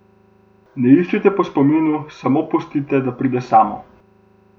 Ne iščite po spominu, samo pustite, da pride samo.